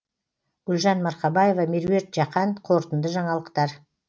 гүлжан марқабаева меруерт жақан қорытынды жаңалықтар